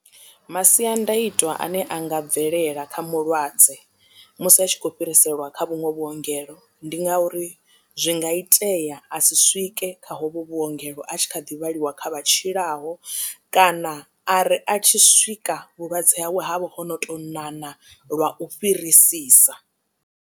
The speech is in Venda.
Masiandaitwa ane anga bvelela kha mulwadze musi a tshi khou fhiriselwa kha vhuṅwe vhuongelo ndi nga uri zwi nga itea a si swike kha hovhu vhuongelo a tshi kha ḓi vhaliwa kha vha tshilaho kana a ri a tshi swika vhulwadze hawe havho ho no tou ṋaṋa lwa u fhirisisa.